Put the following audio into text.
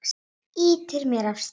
Ýtir mér af stað.